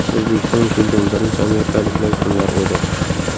O‘zbekistonga kelgan birinchi amerikaliklar kimlar edi?